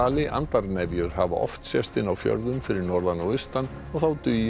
hafa oft sést inni á fjörðum fyrir norðan og austan og þá dugir að fara niður í fjöru